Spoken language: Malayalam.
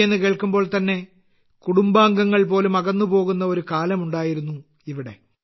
എന്നു കേൾക്കുമ്പോൾ തന്നെ കുടുംബാംഗങ്ങൾ പോലും അകന്നു പോകുന്ന ഒരു കാലമുണ്ടായിരുന്നു ഇവിടെ